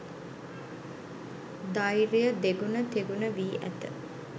ධෛර්ය දෙගුණ, තෙගුණ වී ඇත.